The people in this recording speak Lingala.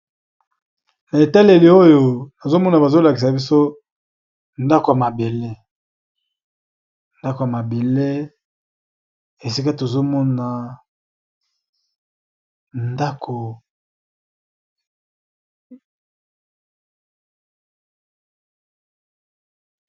Na etaleli oyo azomona bazolakisa biso ndako ya mabele esika tozomona dko.